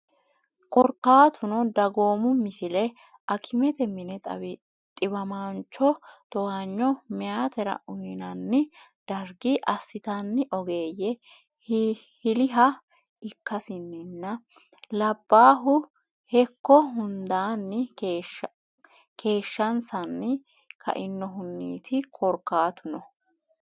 Korkaatuno dagoomu Misile Akimete mine xiwamaanchoho towaanyo meyatera uynanni dargi assitanni ogeeyye hiliha ikkasinninna labbaahu hekko hundaanni keeshshansanni kainohunniiti Korkaatuno.